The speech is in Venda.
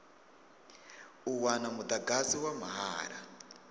u wana mudagasi wa mahala